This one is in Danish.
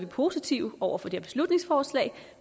positive over for det her beslutningsforslag